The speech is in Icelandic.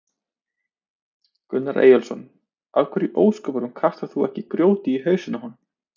Gunnar Eyjólfsson: Af hverju í ósköpunum kastar þú ekki grjóti í hausinn á honum?